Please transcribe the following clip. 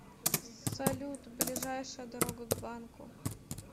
салют ближайшая дорога к банку